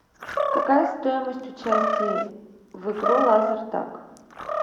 какая стоимость участия в игру лазертаг